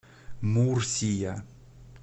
мурсия